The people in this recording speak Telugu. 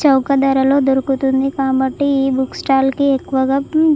చౌక ధరలో దొరుకుతుంది కాబట్టి. ఈ బుక్ స్టాల్ కి ఎక్కువగా--